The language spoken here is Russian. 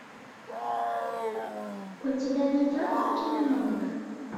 у тебя найдется кино монк